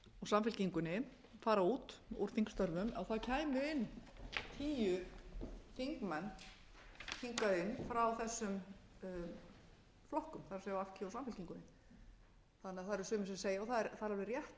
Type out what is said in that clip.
samfylkingunni fara út úr þingstörfum og það kæmu inn tíu þingmenn hingað inn frá þessum flokkum það er v g og samfylkingunni þannig að það eru sumir sem segja og það er alveg rétt